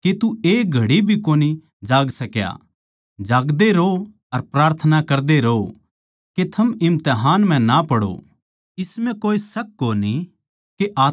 जागदे रहो अर प्रार्थना करदे रहो के थम इम्तिहान म्ह ना पड़ो इस म्ह कोए शक कोनी के आत्मा तो त्यार सै पर देह कमजोर सै